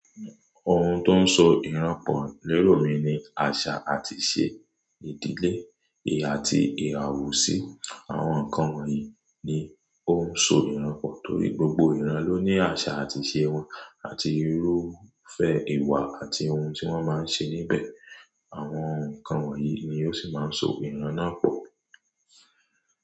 Ohun tó ń so ìran pọ̀ lérò mi ni àṣà àti ìṣe ìdílé èèyà àti ìràwọ̀ sí àwọn nǹkan wọ̀nyí ni ó ń so ìran pọ̀ torí gbogbo ìran ló ní àṣà àti ìṣe wọn àti irúfẹ́ ìwà àti ohun tí wọ́n máa ń ṣe níbẹ̀. Àwọn nǹkan wọ̀nyí ni ó sì máa ń so ìran náà pọ̀